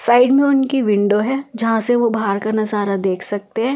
Side में उनकी window है जहां से वो बाहर का नजारा देख सकते हैं।